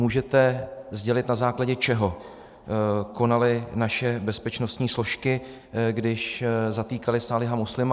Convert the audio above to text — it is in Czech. Můžete sdělit, na základě čeho konaly naše bezpečnostní složky, když zatýkaly Sáliha Muslima?